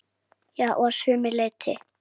Já, að sumu leyti.